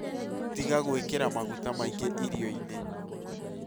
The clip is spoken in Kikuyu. Tiga guikira maguta maingĩ irio-inĩ